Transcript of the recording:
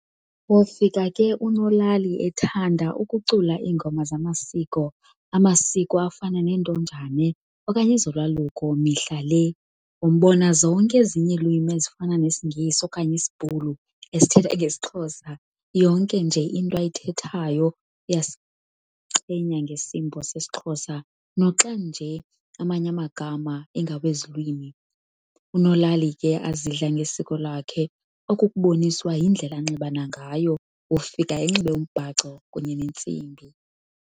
Wofika unolalai ke ethanda ukucula ingoma zamasiko ,amasiko afana neNtonjane okanye ezoLwaluko mihla le. Wombona zonke ezinye ilwimi ezifana nesiNgesi okanye isBhulu esithetha ngesixhosa yonke nje into ayithethatyo uyasichenya ngesimbo sesixhosa noxanje amanye amagama ingawezi lwimi. unolali ke azidla ngesiko lakho okukuboniswa yindlela anxiba nagayo, ufika enxebe umbhaco kunye nentsimbi.